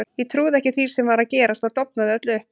Ég trúði ekki því sem var að gerast og dofnaði öll upp.